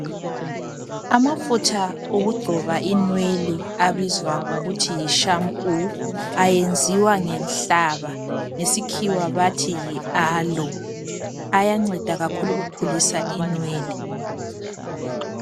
Amafutha okugcoba inwele abizwa ngokuthi yi shampoo ayenziwa ngenhlaba, ngesikhiwa bathi yi aloe. Ayanceda kakhulu ukukhulisa inwele.